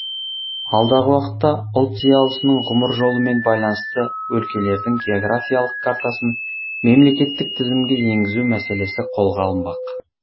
алдағы уақытта ұлт зиялысының ғұмыр жолымен байланысты өлкелердің географиялық картасын мемлекеттік тізімге еңгізу мәселесі қолға алынбақ